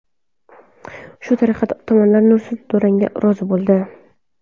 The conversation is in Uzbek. Shu tariqa tomonlar nursiz durangga rozi bo‘ldi.